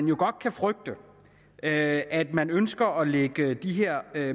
jo godt kan frygtes at at man ønsker at lægge de her